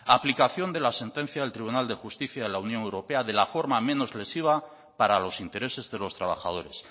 aplicación de la sentencia del tribunal de justicia de la unión europea de la forma menos lesiva para los intereses de los trabajadores